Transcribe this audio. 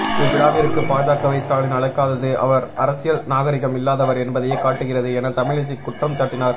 இவ்விழாவிற்கு பாஜக வை ஸ்டாலின் அழைக்காதது அவர் அரசியல் நாகரீகம் இல்லாதவர் என்பதையே காட்டுகிறது என தமிழிசை குற்றம்சாட்டினார்